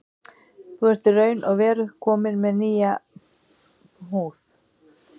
Þú ert í raun og veru kominn með nýja húð.